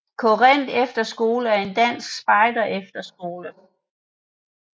Korinth Efterskole er en dansk spejderefterskole